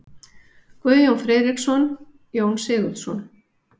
Guðjón Friðriksson: Jón Sigurðsson.